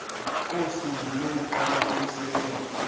kosuku lokuqala kokusebenza